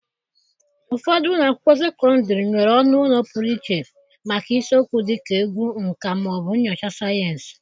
Ụfọdụ ụlọ akwụkwọ sekọndịrị nwere ọnụ ụlọ pụrụ iche maka isiokwu dịka egwu, nka, ma ọ bụ nnyocha sayensị.